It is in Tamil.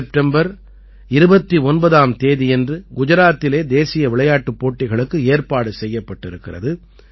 செப்டம்பர் 29ஆம் தேதியன்று குஜராத்திலே தேசிய விளையாட்டுப் போட்டிகளுக்கு ஏற்பாடு செய்யப்பட்டிருக்கிறது